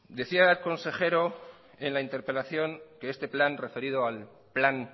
decía el consejero en la interpelación que este plan referido al plan